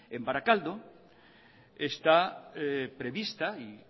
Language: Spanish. en barakaldo está prevista y